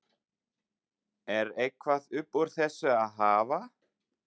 Er eitthvað upp úr þessu að hafa?